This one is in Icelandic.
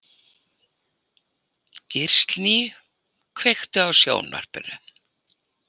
Gíslný, kveiktu á sjónvarpinu.